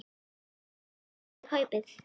Hún varð að ná í kaupið.